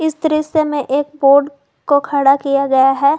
इस दृश्य मैं एक बोर्ड को खड़ा किया गया है।